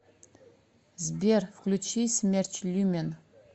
сбер включи смерч люмен